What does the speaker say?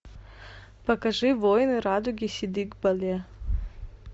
покажи воины радуги сидик бале